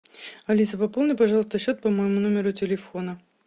алиса пополни пожалуйста счет по моему номеру телефона